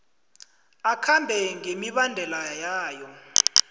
akhambe ngemibandela yawo